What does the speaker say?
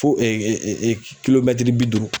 Fo bi duuru.